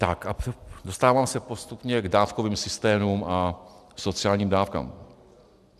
Tak a dostávám se postupně k dávkovým systémům a sociálním dávkám.